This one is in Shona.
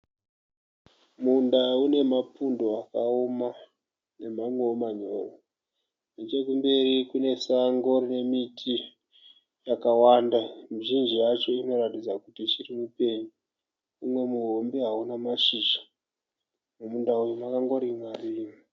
Munda une mapundo akaoma nemamwewo manyoro. Nechekumberi kune sango rine miti yakawanda. Mizhinji yacho inoratidza kuti ichiri mipenyu. Umwe muhombe hauna mashizha. Mumunda uyu makangorimwa rimwa.